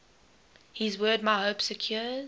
his word my hope secures